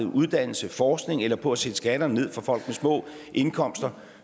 uddannelse forskning eller på at sætte skatterne ned for folk med små indkomster